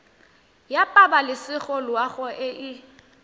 ya pabalesego loago e e